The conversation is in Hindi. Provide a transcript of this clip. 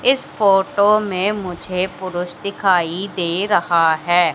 इस फोटो में मुझे पुरुष दिखाई दे रहा है।